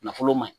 Nafolo ma ɲi